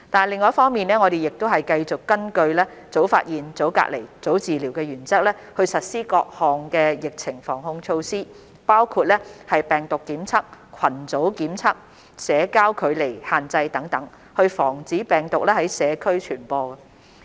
另一方面，我們繼續根據"早發現、早隔離、早治療"的原則，實施各項疫情防控措施，包括病毒監測、群組檢測、社交距離限制等，以防止病毒在社區傳播。